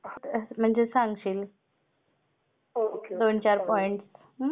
हां म्हणजे सांगशील? हो दोन चार पॉइंट.